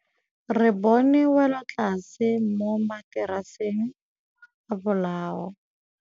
Re bone wêlôtlasê mo mataraseng a bolaô.